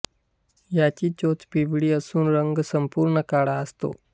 याची चोच पिवळी असून रंग संपूर्ण काळा असतो